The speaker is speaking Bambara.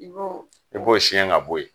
I b'o; I b'o siyɛn ka bɔ yen.